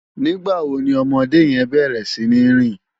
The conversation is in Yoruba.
Nigbá wó ni òmòdé yèn bèrè sini rin?